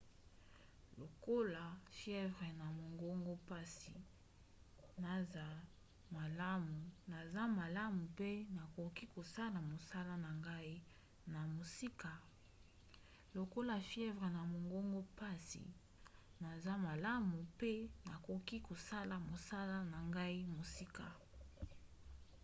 longola fievre na mongongo mpasi naza malamu mpe nakoki kosala mosala na ngai na mosika.